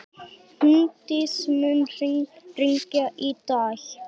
Húndís, mun rigna í dag?